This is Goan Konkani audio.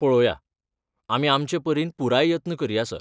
पळोवया, आमी आमचे परीन पुराय यत्न करया, सर.